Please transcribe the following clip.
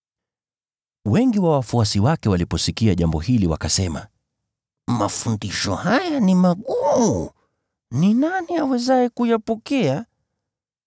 Wengi wa wafuasi wake waliposikia jambo hili wakasema, “Mafundisho haya ni magumu. Ni nani awezaye kuyapokea?”